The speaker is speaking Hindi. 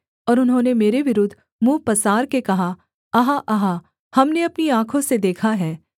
और उन्होंने मेरे विरुद्ध मुँह पसार के कहा आहा आहा हमने अपनी आँखों से देखा है